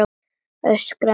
Öskra með sjálfri mér.